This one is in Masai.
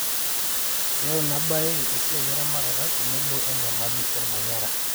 keyau Ina bae esiai eramatare tenebo enyamali olmanyara